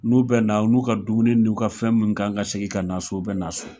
N'u bɛ na u n'u ka dumuni n'u ka fɛn min kan ka segin ka na so o bɛ na so